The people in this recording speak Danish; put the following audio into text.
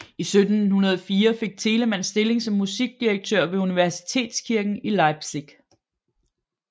I 1704 fik Telemann stilling som musikdirektør ved universitetskirken i Leipzig